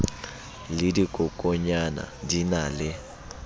le dikokonyana di na le